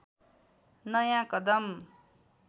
नयाँ कदम